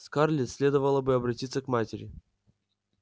скарлетт следовало бы обратиться к матери